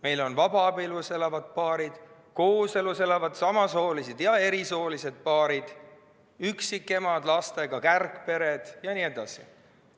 Meil on vabaabielus elavad paarid, kooselus elavad samasoolised ja erisoolised paarid, üksikemad lastega, kärgpered jne.